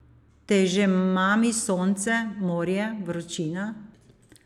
Te že mami sonce, morje, vročina?